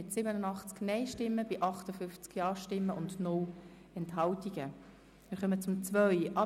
Wir stimmen über die Planungserklärung 2 ab.